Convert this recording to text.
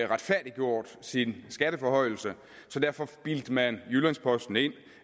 retfærdiggjort sin skatteforhøjelse derfor bildte man jyllands posten ind